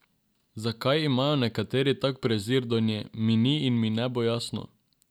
Zakaj imajo nekateri tak prezir do nje, mi ni in mi ne bo jasno.